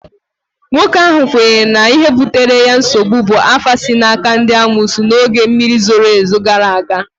nwoke ahụ kwenyere na ihe butere ya nsogbu bụ afa si n'aka ndị amoosu n'oge mmiri ozuzo gara aga